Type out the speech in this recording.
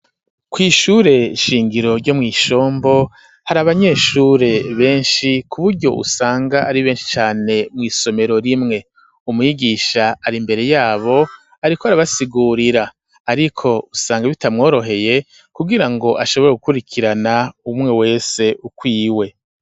Kw'ishure shingiro ryo mw’i Shombo, hari abanyeshure benshi ku buryo usanga ari benshi cane mw'isomero rimwe; umwigisha ari imbere y'abo ariko arabasigurira, ariko usanga bitamworoheye kugira ngo, ashobore gukurikirana umwe wese ukwiwe.